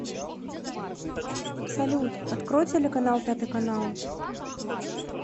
салют открой телеканал пятый канал